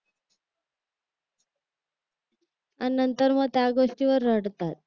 आणि नंतर मग त्या गोष्टीवर रडतात